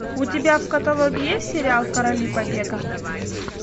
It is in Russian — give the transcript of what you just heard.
у тебя в каталоге есть сериал короли побега